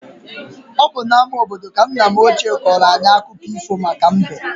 Ọ bụ n'ama obodo ka nna m ochie kọọrọ anyị akụkọ ifo maka mbe.